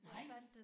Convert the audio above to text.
Nej!